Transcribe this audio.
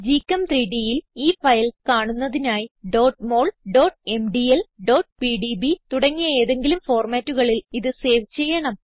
GChem3Dൽ ഈ ഫയൽ കാണുന്നതിനായി mol mdl pdb തുടങ്ങിയ ഏതെങ്കിലും formatകളിൽ ഇത് സേവ് ചെയ്യണം